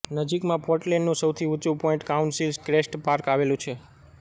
નજીકમાં પોર્ટલેન્ડનું સૌથી ઊંચું પોઇન્ટ કાઉન્સિલ ક્રેસ્ટ પાર્ક આવેલું છે